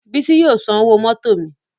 Bísí yóò san owó mótò mi